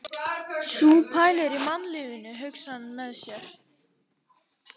Sú pælir í mannlífinu, hugsar hann með sér.